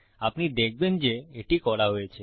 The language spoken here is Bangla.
আপনি দেখবেন যে এটি করা হয়েছে